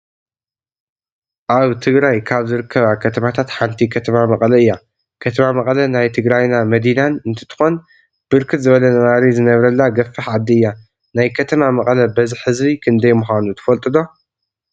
አብ ትግራይ ካብ ዝርከባ ከተማታት ሓንቲ ከተማ መቀለ እያ ። ከተማ መቀለ ናይ ትግራይና መዲናን እንትትኮን ብርክት ዝበለ ነባሪ ዝነብረላ ገፋሕ ዓዲ እያ። ናየ ከተማ መቀለ በዝሒ ህዝቢ ክንደይ ምካኑ ትፈልጥዎ ዶ?